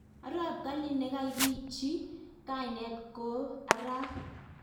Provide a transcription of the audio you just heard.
Arap Kalin nekakichii kaineet Koo arap